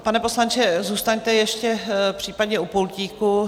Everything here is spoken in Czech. Pane poslanče, zůstaňte ještě případně u pultíku.